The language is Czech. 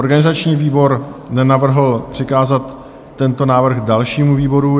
Organizační výbor nenavrhl přikázat tento návrh dalšímu výboru.